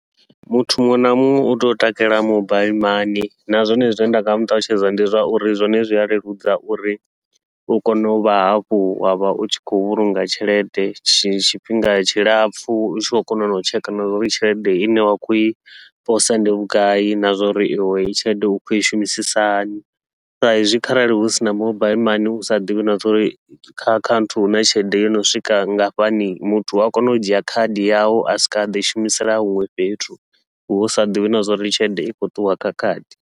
Muthu muṅwe na muṅwe utea u takalela mobile mani, na zwone zwine nda nga muṱalutshedza ndi zwauri zwone zwi a leludza uri u kone uvha hafhu wavha u tshi khou vhulunga tshelede tshifhinga tshilapfhu, u tshi khou kona nau tsheka na zwauri tshelede ine wa khou i posa ndi vhugai na zwauri iwe heyi tshelede u khou i shumisisa hani. Saizwi kharali hu sina mobile mani usa ḓivhi na zwauri kha akhaunthu huna tshelede yono swika ngafhani, muthu ua kona u dzhia khadi yawu a swika a ḓi shumisela huṅwe fhethu, hu sa ḓivhi na zwauri tshelede i khou ṱuwa kha khadi.